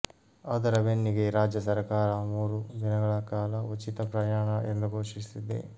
ಅದರ ಬೆನ್ನಿಗೆ ರಾಜ್ಯ ಸರ್ಕಾರ ಮೂರು ದಿನಗಳ ಕಾಲ ಉಚಿತ ಪ್ರಯಾಣ ಎಂದು ಘೋಷಿಸಿದೆ